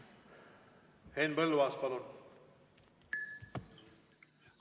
Henn Põlluaas, palun!